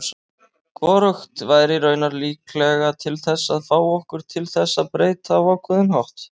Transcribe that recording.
Hvorugt væri raunar líklega til þess að fá okkur til þess breyta á ákveðinn hátt.